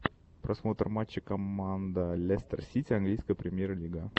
просмотр матча команда лестер сити английская премьер лига